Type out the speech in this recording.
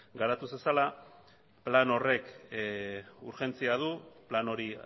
garatu zezala plan horrek urgentzia du plan hori